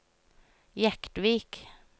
Jektvik